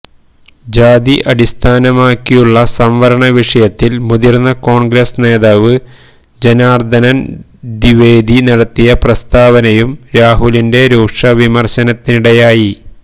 ജാതി അടിസ്ഥാനമാക്കിയുള്ള സംവരണ വിഷയത്തില് മുതിര്ന്ന കോണ്ഗ്രസ് നേതാവ് ജനാര്ദനന് ദ്വിവേദി നടത്തിയ പ്രസ്താവനയും രാഹുലിന്റെ രൂക്ഷ വിമര്ശനത്തിനിടയായി